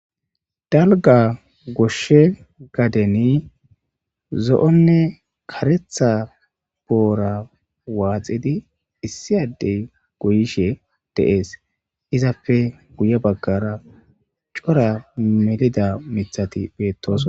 dalga goshshe gadeni zo7onne karetha boora waaxidi issi addey goyishe deees izapfe guye baggara cora melida mithati beettoos